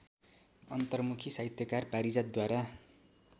अन्तर्मुखी साहित्यकार पारिजातद्वारा